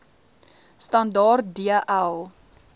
standaard d l